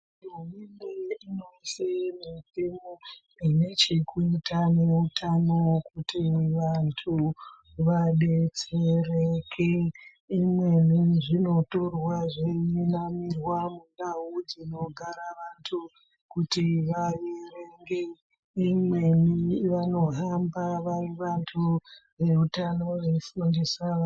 Mitemo inevhekuita neutano kuti vandu vadetsereke imweni zvinotorwa zveinamirwa munogara vandu kuti vaverenge imweni vanohamba vari veutano.